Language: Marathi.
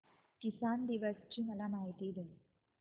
किसान दिवस ची मला माहिती दे